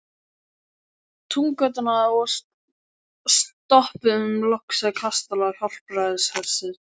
Túngötuna og stoppuðum loks við kastala Hjálpræðishersins.